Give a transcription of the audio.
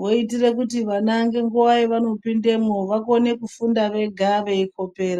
Votire kuti vana ngenguva yavanopindemwo vaone kufunda vega veikopera.